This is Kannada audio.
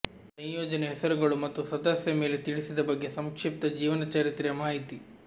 ಸಂಯೋಜನೆ ಹೆಸರುಗಳು ಮತ್ತು ಸದಸ್ಯ ಮೇಲೆ ತಿಳಿಸಿದ ಬಗ್ಗೆ ಸಂಕ್ಷಿಪ್ತ ಜೀವನಚರಿತ್ರೆಯ ಮಾಹಿತಿ